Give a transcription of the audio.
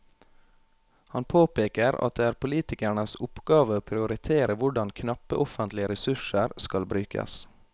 Han påpeker at det er politikernes oppgave å prioritere hvordan knappe offentlige ressurser skal brukes.